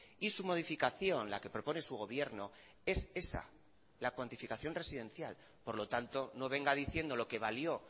y su modificación la que propone su gobierno es esa la cuantificación residencial por lo tanto no venga diciendo lo que valió